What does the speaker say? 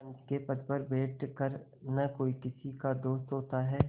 पंच के पद पर बैठ कर न कोई किसी का दोस्त होता है